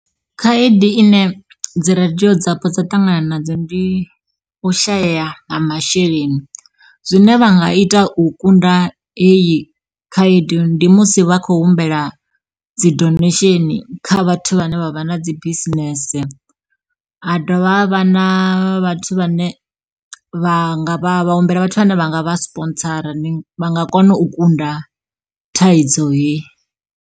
Khaedu ine dzi radio dzapo dza ṱangana nadzo ndi u shaya ha masheleni, zwine vha nga ita u kunda heyi khaedu ndi musi vha khou humbela dzi donation kha vhathu vhane vha vha na dzi bisinese. Ha dovha ha vha na vhathu vhane vha nga humbela vhathu vhane vha nga vha sponsora vha nga kona u kunda thaidzo heyi.